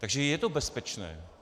Takže je to bezpečné.